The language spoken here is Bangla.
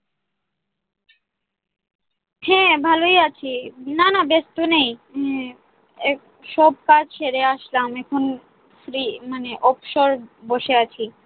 হ্যাঁ, ভালই আছি। না না ব্যস্ত নেই। হম এই সব কাজ সেরে আসলাম এখন free মানে অবসর বসে আছি।